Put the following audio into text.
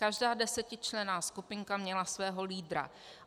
Každá desetičlenná skupinka měla svého lídra.